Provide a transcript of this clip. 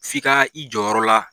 F'i ka i jɔ yɔrɔ la.